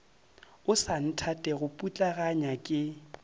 o sa nthatego putlaganya ke